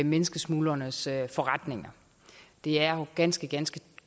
menneskesmuglernes forretninger det er jo ganske ganske